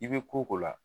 I bɛ ko o ko la